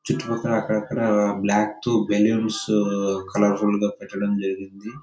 చుట్టుపక్కల అక్కడక్కడ black tube balloons colourful గా పెట్టడం జరిగింది.